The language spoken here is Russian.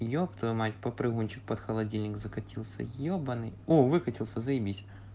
ёп твою мать попрыгунчик под холодильник закатился ебаный о выкатился заебись